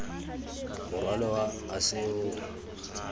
morwalo wa ase o o